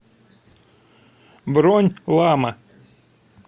бронь лама